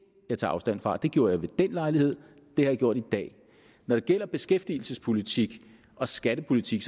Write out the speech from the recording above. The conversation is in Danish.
jeg tager afstand fra det gjorde jeg ved den lejlighed og det har jeg gjort i dag når det gælder beskæftigelsespolitik og skattepolitik